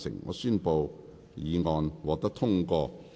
我宣布議案獲得通過。